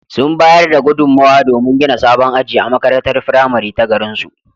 Sun bayar da gudunmowa domin gina sabon aji a makarantar firamare ta garinsu.